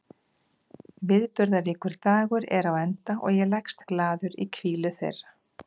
Viðburðaríkur dagur er á enda og ég leggst glaður í hvílu þeirra.